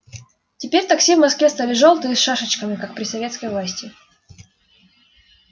теперь такси в москве стали жёлтые и с шашечками как при советской власти